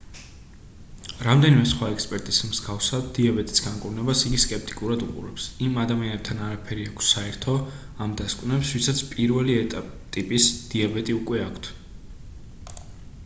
რამდენიმე სხვა ექსპერტის მსგავსად დიაბეტის განკურნებას იგი სკეპტიკურად უყურებს იმ ადამიანებთან არაფერი აქვს საერთო ამ დასკვნებს ვისაც 1-ელი ტიპის დიაბეტი უკვე აქვთ